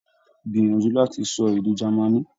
Gbìyànjú láti sọ èdè Germany.